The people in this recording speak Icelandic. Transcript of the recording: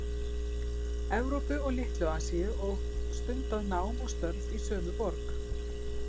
Evrópu og Litlu- Asíu og stundað nám og störf í sömu borg